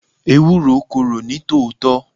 Ewúro korò ní tòótọ́.